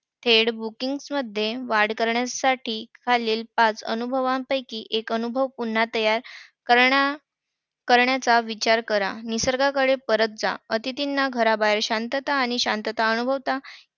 Head booking मध्ये वाढ करण्यासाठी खालील पाच अनुभवांपैकी एक अनुभव पुन्हा तयार करणा~ करण्याचा विचार करा. निसर्गाकडे परत जा. अतिथींना घराबाहेर शांतता आणि शांतता अनुभवता